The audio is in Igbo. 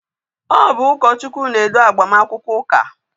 Ọ bụ ụkọchukwu na-edu agbamakwụkwọ ụka